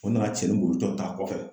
O nana cɛnin boli tɔ ta a kɔfɛ.